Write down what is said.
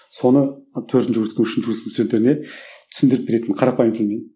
соны төртінші курстың үшінші курстың студенттеріне түсіндіріп беретін қарапайым тілмен